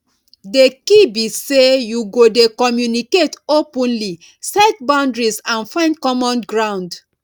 di key be say you go dey communicate openly set boundaries and find common ground